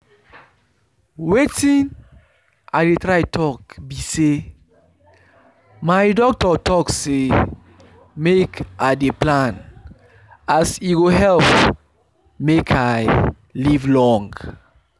wetin i dey try talk be say my doctor talk say make i dey plan as e go help make i live long